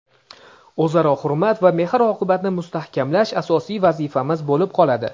o‘zaro hurmat va mehr-oqibatni mustahkamlash asosiy vazifamiz bo‘lib qoladi.